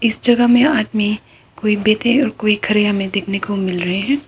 इस जगह में आदमी कोई बैठे और कोई खड़े हमें देखने को मिल रहे है।